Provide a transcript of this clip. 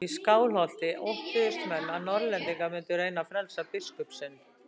Í Skálholti óttuðust menn að Norðlendingar mundu reyna að frelsa biskup sinn.